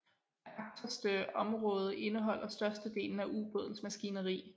Det agterste område indeholder størstedelen af ubådens maskineri